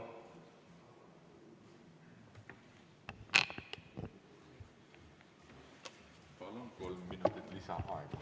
Palun kolm minutit lisaaega!